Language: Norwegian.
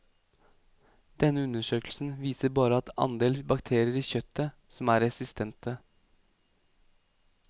Denne undersøkelsen viser bare andel bakterier i kjøttet som er resistente.